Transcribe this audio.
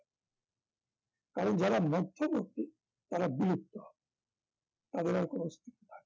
কারণ যারা মধ্যবর্তী তারা বিলুপ্ত হয় তাদের আর কোন অস্তিত্ব থাকে না